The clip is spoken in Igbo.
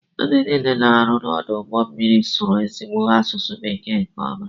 Ndị niile na-arụ n'ọdụ ụgbọ elu sụrụ ezigbo asụsụ bekee nke ọma.